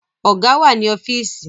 Ọ̀gá wà ní ọ́fíìsì